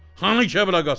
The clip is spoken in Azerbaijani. Hanı Kəblə Qasım?